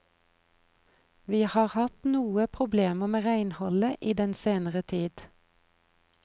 Vi har hatt noe problemer med renholdet i den senere tid.